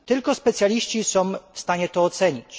Tylko specjaliści są w stanie to ocenić.